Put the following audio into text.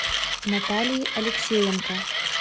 натальи алексеенко